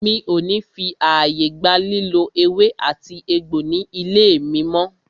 Mi o ní fí ààyè gba lílò ewé àti egbò ní ilé mí mọ́!